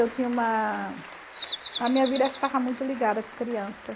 Eu tinha uma... A minha vida estava muito ligada com criança.